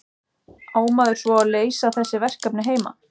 Á maður svo að leysa þessi verkefni heima?